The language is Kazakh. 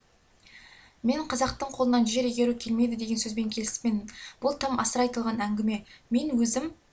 мен қазақтың қолынан жер игеру келмейді деген сөзбен келіспеймін бұл тым асыра айтылған әңгіме мен өзім